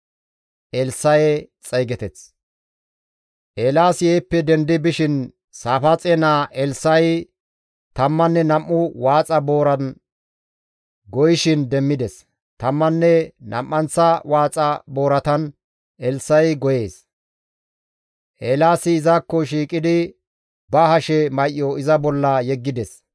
Eelaasi heeppe dendi bishin Saafaaxe naa Elssa7i tammanne nam7u waaxa booran goyishin demmides; tammanne nam7anththa waaxa booratan Elssa7i goyees. Eelaasi izakko shiiqidi ba hashe may7o iza bolla yeggides.